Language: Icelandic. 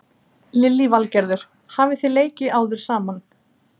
Lillý Valgerður: Hafi þið leikið áður saman?